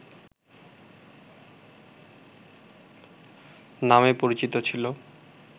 নামে পরিচিত ছিল